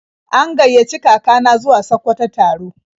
An gaiyaci kaka na zuwa Sakkwato taro.